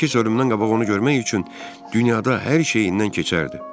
Qardaşı isə ölümdən qabaq onu görmək üçün dünyada hər şeyindən keçərdi.